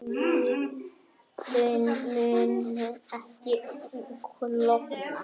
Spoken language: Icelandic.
Vötnin munu ekki klofna